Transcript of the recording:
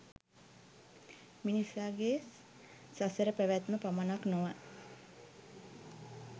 මිනිසා ගේ සසර පැවැත්ම පමණක් නොව